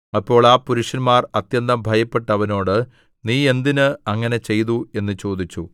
അപ്പോൾ ആ പുരുഷന്മാർ അത്യന്തം ഭയപ്പെട്ട് അവനോട് നീ എന്തിന് അങ്ങനെ ചെയ്തു എന്ന് ചോദിച്ചു